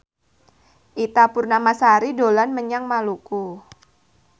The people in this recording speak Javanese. Ita Purnamasari dolan menyang Maluku